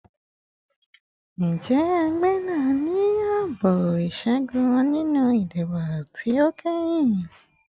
Njẹ ẹgbẹ naa ni aabo iṣẹgun ninu idibo ti o kẹhin?